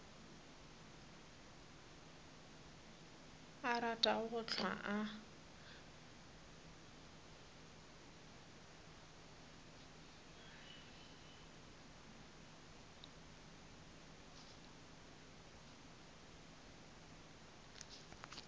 a ratago go hlwa a